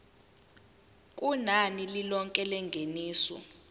kunani lilonke lengeniso